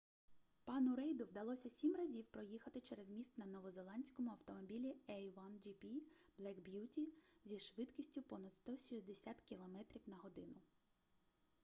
пану рейду вдалося 7 разів проїхати через міст на новозеландському автомобілі a1gp black beauty зі швидкістю понад 160 км/год